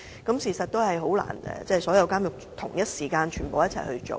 但事實上，的確難以在所有監獄同一時間進行安裝。